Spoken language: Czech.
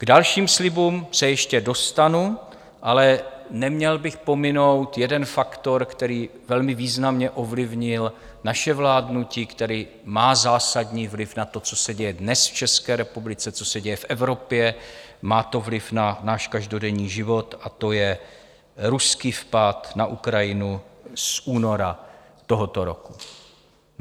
K dalším slibům se ještě dostanu, ale neměl bych pominout jeden faktor, který velmi významně ovlivnil naše vládnutí, který má zásadní vliv na to, co se děje dnes v České republice, co se děje v Evropě, má to vliv na náš každodenní život, a to je ruský vpád na Ukrajinu z února tohoto roku.